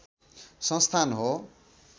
संस्थान हो